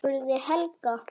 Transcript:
spurði Helga.